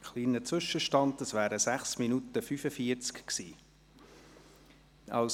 Ein kleiner Zwischenstand: Das waren 6 Minuten und 45 Sekunden.